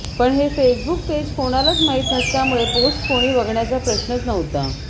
पण हे Facebook page कोणालाच माहिती नसल्यामुळे पोस्ट कोणी बघण्याचा प्रश्नच नव्हता